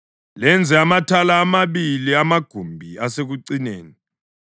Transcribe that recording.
lenze amathala amabili amagumbi asekucineni.